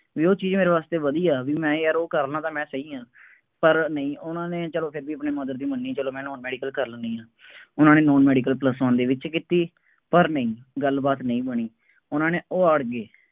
ਬਈ ਉਹ ਚੀਜ਼ ਮੇਰੇ ਵਾਸਤੇ ਵਧੀਆ, ਬਈ ਮੈਂ ਯਾਰ ਉਹ ਕਰ ਲਾਂ, ਤਾਂ ਮੈਂ ਸਹੀ ਹਾਂ, ਪਰ ਨਹੀਂ ਉਹਨਾ ਨੇ ਜਦੋਂ ਕਹਿ ਦੇਈਏ ਆਪਣੇ mother ਦੀ ਮੰਨੀ ਚੱਲੋ ਮੈਂ ਨਾਨ ਮੈਡੀਕਲ ਕਰ ਲੈਂਦੀ ਹਾਂ। ਉਹਨਾ ਨੇ ਨਾਨ ਮੈਡੀਕਲ plus one ਦੇ ਵਿੱਚ ਕੀਤੀ, ਪਰ ਨਹੀਂ, ਗੱਲਬਾਤ ਨਹੀਂ ਬਣੀ, ਉਹਨਾ ਨੇ, ਉਹ ਅੜ ਗਏ।